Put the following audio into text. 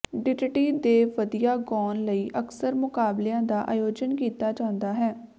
ditty ਦੇ ਵਧੀਆ ਗਾਉਣ ਲਈ ਅਕਸਰ ਮੁਕਾਬਲਿਆਂ ਦਾ ਆਯੋਜਨ ਕੀਤਾ ਜਾਂਦਾ ਹੈ